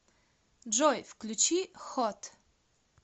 джой включи хот